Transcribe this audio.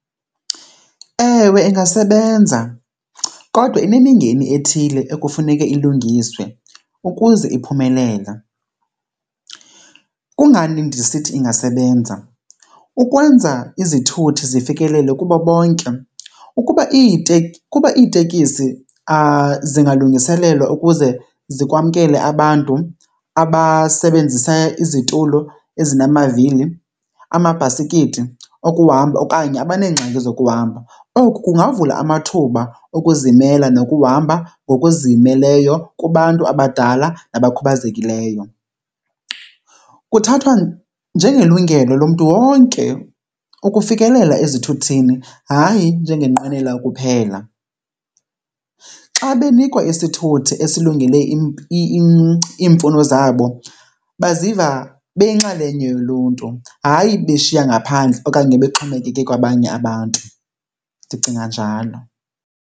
Ewe, ingasebenza kodwa inemingeni ethile ekufuneke ilungiswe ukuze iphumelele. Kungani ndisithi ingasebenza? Ukwenza izithuthi zifikelele kubo bonke. Ukuba , ukuba iitekisi zingalungiselelwa ukuze zikwamkele abantu abasebenzisa izitulo ezinamavili, amabhasikiti okuhamba okanye abaneengxaki zokuhamba, oku kungavula amathuba okuzimela nokuhamba ngokuzimeleyo kubantu abadala nabakhubazekileyo. Kuthathwa njengelungelo lomntu wonke ukufikelela ezithuthini, hayi njengenqwenela kuphela. Xa benikwa isithuthi esilungele iimfuno zabo baziva beyinxalenye yoluntu hayi beshiya ngaphandle okanye bexhomekeke kwabanye abantu. Ndicinga njalo.